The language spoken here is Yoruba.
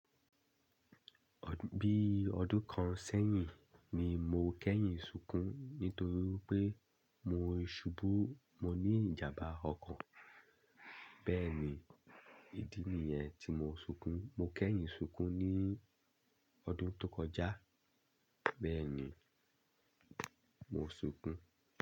Bí ọdún kan sẹ́yìn ni mo kẹ́yìn sunkún nítorí pé mo ṣubú mo ní ìjàmbá ọko. Bẹ́ẹ̀ni, ìdí nìyẹn tí mo sunkún. Mo kẹ́yìn sunkún ní ọdún tó kọjá. Bẹ́ẹ̀ni, mo sunkún.